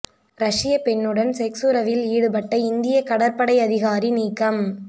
ரஷ்யப் பெண்ணுடன் செக்ஸ் உறவில் ஈடுபட்ட இந்திய கடற்படை அதிகாரி நீக்கம்